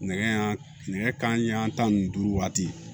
Nɛgɛ nɛgɛ kanɲɛ tan ni duuru waati